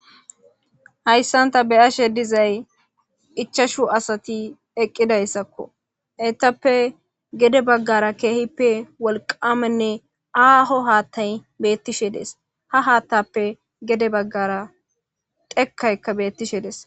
hayssan ta beyashe dizay ichashu asati eqqidayssakko etappe gede baggara keehippe wolqamenne aaho haattay beettishe dees ha haattappe gede baggara dhekkayka beettishe des